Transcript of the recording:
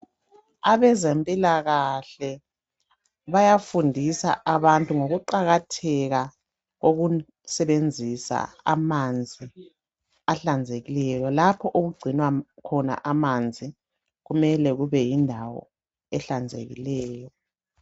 Abezempilakahle bayafundisa abantu ngokuqakatheka kokusebenzisa amanzi ahlanzekileyo. Lapho okugcinwa khona amanzi kumele kube yindawo ehlanzekileyo.